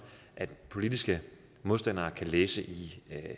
at politiske modstandere kan læse i